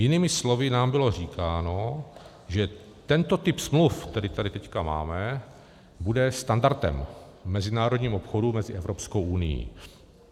Jinými slovy nám bylo říkáno, že tento typ smluv, který tady teď máme, bude standardem v mezinárodním obchodě mezi Evropskou unií.